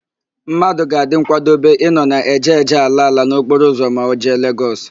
Mmadụ ga-adị nkwadobe ịnọ na èjèèjè, álaála n'okporoụzọ ma o jee Legọs.